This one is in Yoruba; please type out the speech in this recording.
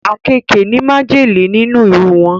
Àkekèé ní májèlé nínú iru wọn